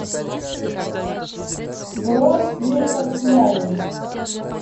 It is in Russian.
бронь мир канцелярии